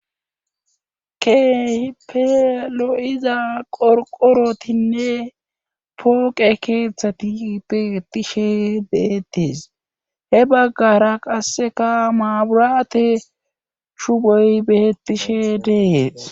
Kehpelo'iza qorqorotinne pooqe keeththati beetishe deettees hebaggara qasseka maaburate chugoy beetishe dees.